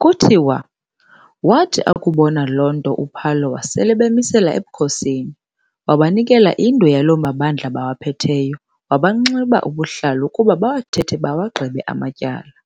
Kuthiwa waathi akubona loo nto uPhalo wasel'ebamisela ebukhosini, wabanikela indwe yaloo mabandla bawaphetheyo, wabanxiba ubuhlalu ukuba bawathethe bawagqibe amatyala,